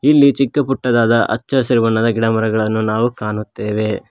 ಇಲ್ಲಿ ಚಿಕ್ಕ ಪುಟ್ಟದಾದ ಹಚ್ಚ ಹಸಿರು ಬಣ್ಣದ ಗಿಡಮರಗಳನ್ನು ನಾವು ಕಾಣುತ್ತೇವೆ.